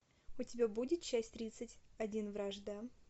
у тебя будет часть тридцать один вражда